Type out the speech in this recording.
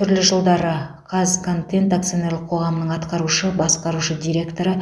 түрлі жылдары қазконтент акционерлік қоғамының атқарушы басқарушы директоры